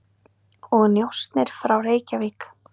og njósnir frá Reykjavík.